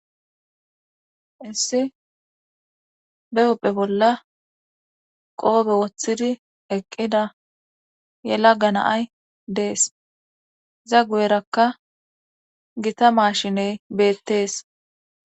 Issi be upphe bolla qoobe woththidi eqqida ye lagga naay dees za gu7erakka gita maashiney beettees.